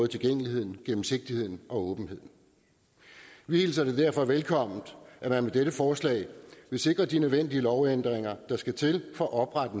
tilgængeligheden gennemsigtigheden og åbenheden vi hilser det derfor velkommen at man med dette forslag vil sikre de nødvendige lovændringer der skal til for at oprette